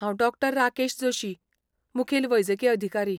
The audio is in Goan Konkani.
हांव डॉ. राकेश जोशी, मुखेल वैजकी अधिकारी.